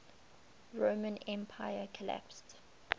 roman empire collapsed